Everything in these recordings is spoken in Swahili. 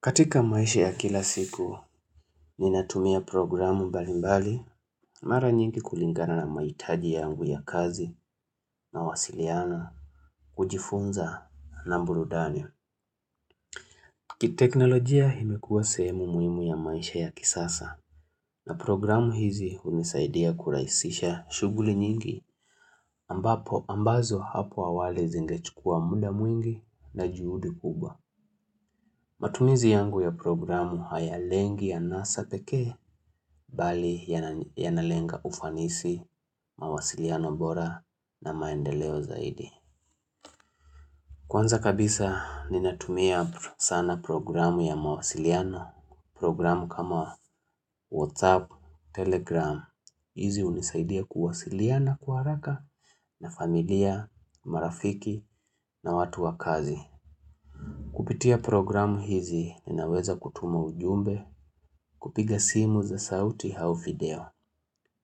Katika maisha ya kila siku, ninatumia programu mbali mbali, mara nyingi kulingana na mahitaji yangu ya kazi, nawasiliana, kujifunza na burudani. Kiteknolojia imekua sehemu muhimu ya maisha ya kisasa, na programu hizi hunisaidia kurahisisha shuguli nyingi, ambazo hapo awali zingechukua muda mwingi na juhudi kubwa. Matumizi yangu ya programu hayalengi ya anasa pekee, bali yanalenga ufanisi, mawasiliano bora na maendeleo zaidi. Kwanza kabisa ninatumia sana programu ya mawasiliano, programu kama WhatsApp, Telegram, hizi hunisaidia kuwasiliana kwa haraka na familia, marafiki na watu wa kazi. Kupitia programu hizi ninaweza kutuma ujumbe, kupiga simu za sauti au video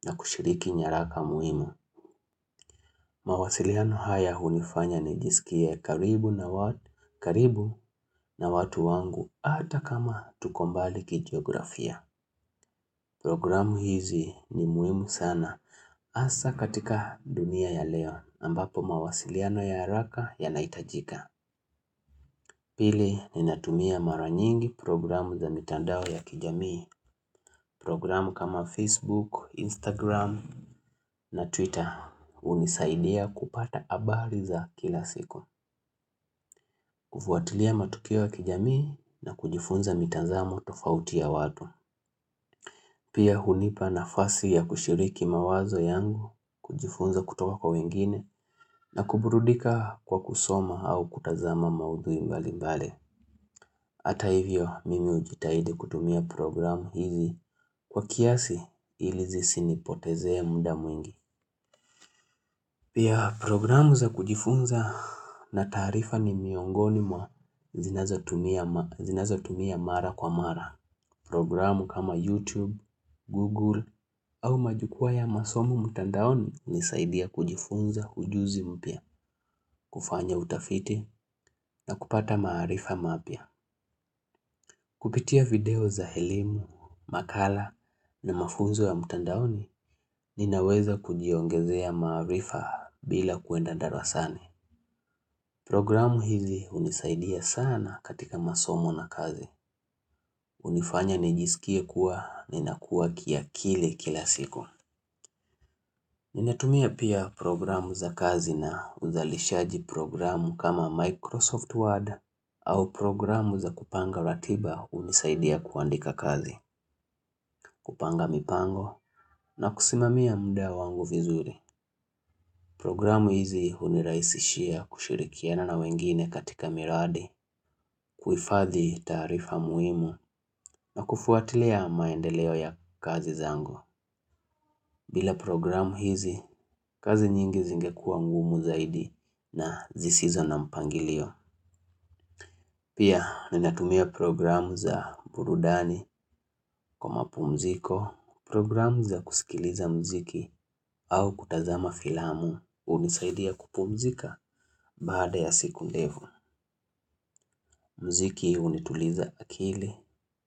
na kushiriki nyaraka muhimu. Mawasiliano haya hunifanya nijisikie karibu na watu, karibu na watu wangu ata kama tuko mbali kigeografia. Programu hizi ni muhimu sana hasa katika dunia ya leo ambapo mawasiliano ya haraka yanahitajika. Pili ninatumia mara nyingi programu za mitandao ya kijamii. Programu kama Facebook, Instagram na Twitter hunisaidia kupata habari za kila siku. Kufuatilia matukio ya kijamii na kujifunza mitazamo tofauti ya watu. Pia hunipa nafasi ya kushiriki mawazo yangu, kujifunza kutoka kwa wengine na kuburudika kwa kusoma au kutazama maudhui mbali mbali. Hata hivyo mimi hujitahidi kutumia programu hizi kwa kiasi ili zisinipotezee muda mwingi. Pia programu za kujifunza na taarifa ni miongoni mwa zinazotumia mara kwa mara. Programu kama YouTube, Google au majukwaa ya masomo mtandaoni hunisaidia kujifunza ujuzi mpya, kufanya utafiti na kupata maarifa mapya. Kupitia video za elimu, makala na mafunzo ya mtandaoni ninaweza kujiongezea maarifa bila kuenda darasani. Programu hizi unisaidia sana katika masomo na kazi. Hunifanya nijisikie kuwa ninakuwa kiakili kila siku. Ninatumia pia programu za kazi na uzalishaji programu kama "Microsoft Word" au programu za kupanga ratiba hunisaidia kuandika kazi. Kupanga mipango na kusimamia muda wangu vizuri Programu hizi hunirahisishia kushirikiana na wengine katika miradi kuhifadhi taarifa muhimu na kufuatilia maendeleo ya kazi zangu bila programu hizi, kazi nyingi zingekuwa ngumu zaidi na zisizo na mpangilio Pia ninatumia programu za burudani kwa mapumziko, Programu za kusikiliza mziki au kutazama filamu hunisaidia kupumzika baada ya siku ndefu. Mziki hunituliza akili.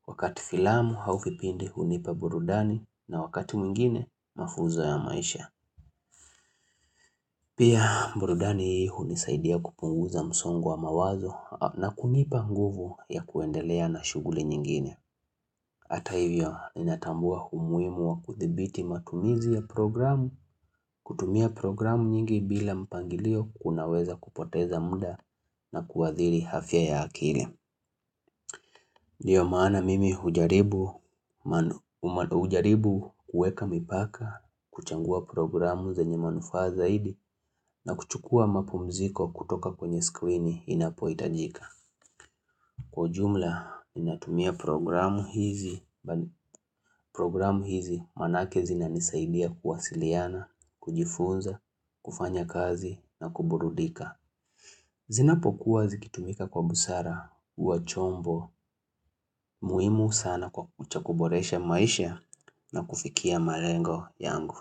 Wakati filamu au vipindi hunipa burudani na wakati mwingine mafunzo ya maisha. Pia burudani hunisaidia kupunguza msongo wa mawazo na kunipa nguvu ya kuendelea na shuguli nyingine. Hata hivyo, ninatambua umuhimu wa kuthibiti matumizi ya programu, kutumia programu nyingi bila mpangilio kunaweza kupoteza muda na kuadhiri afya ya akili. Ndiyo maana mimi hujaribu kuweka mipaka, kuchagua programu zenye manufaa zaidi na kuchukua mapumziko kutoka kwenye skrini inapohitajika. Kwa jumla, ninatumia programu hizi, programu hizi maanake zinanisaidia kuwasiliana, kujifunza, kufanya kazi na kuburudika. Zinapokuwa zikitumika kwa busara, huwa chombo, muhimu sana cha kuboresha maisha na kufikia malengo yangu.